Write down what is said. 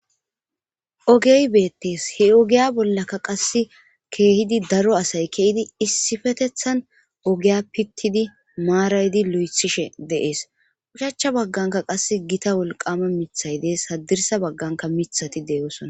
Ogey beettees he ogiya bollaka qasse keehidi daro asay keidi issifetethan ogiya pittidi maaraydi lu7ethishe deees ushacha bagganka qas gita wolqama mithay dees hadirsa bagganka mithati de7osona